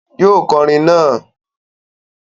Yóò kọrin naa!